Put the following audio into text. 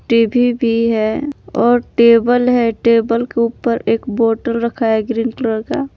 TV भी है और टेबल है टेबल के ऊपर एक बोटल रखा है ग्रीन कलर का।